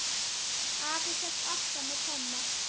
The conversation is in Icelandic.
Afi hélt alltaf með Tomma.